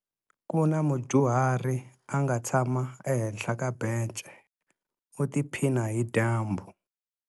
Ku na mudyuhari a nga tshama ehenhla ka bence u tiphina hi dyambu.